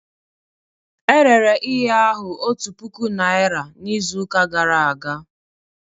E rere ihe ahụ otu puku naira n'izuụka gara aga